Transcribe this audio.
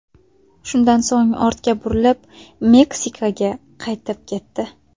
Shundan so‘ng ortga burilib, Meksikaga qaytib ketdi.